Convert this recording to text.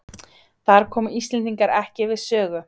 Þar komu Íslendingar ekki við sögu